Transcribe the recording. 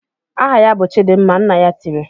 "Aha ya bụ Chidimma!" Nna ya tiri.